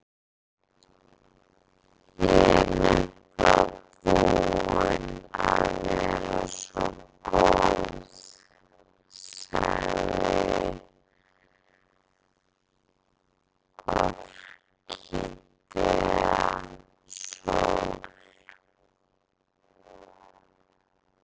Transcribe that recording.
Ég er nefnilega búin að vera svo góð, sagði Orkídea Sól.